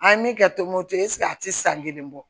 An ye min kɛ tombouctou eseke a tɛ san kelen bɔ